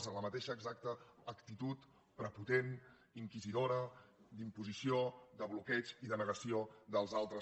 tota la mateixa exacta actitud prepotent inquisidora d’imposició de bloqueig i de negació dels altres